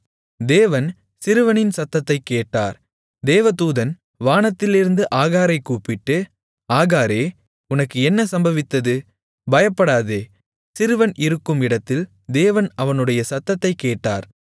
தேவன் சிறுவனின் சத்தத்தைக் கேட்டார் தேவதூதன் வானத்திலிருந்து ஆகாரைக் கூப்பிட்டு ஆகாரே உனக்கு என்ன சம்பவித்தது பயப்படாதே சிறுவன் இருக்கும் இடத்தில் தேவன் அவனுடைய சத்தத்தைக் கேட்டார்